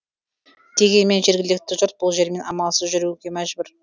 дегенмен жергілікті жұрт бұл жермен амалсыз жүруге мәжбүр